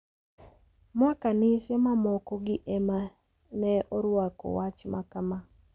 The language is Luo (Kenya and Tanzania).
Ma kanise mamoko gi ema ne orwako wach makama.